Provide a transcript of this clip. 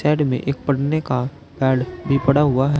में एक पढ़ने का कार्ड भी पड़ा हुआ है।